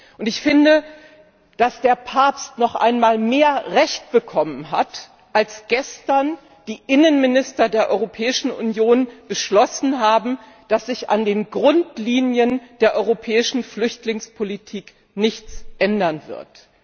Und ich finde, dass der Papst noch einmal mehr Recht bekommen hat, als gestern die Innenminister der Europäischen Union beschlossen haben, dass sich an den Grundlinien der europäischen Flüchtlingspolitik nichts ändern wird.